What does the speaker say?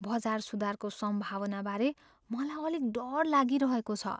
बजार सुधारको सम्भावनाबारे मलाई अलिक डर लागिरहेको छु।